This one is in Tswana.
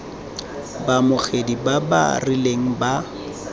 baamogedi ba ba rileng ba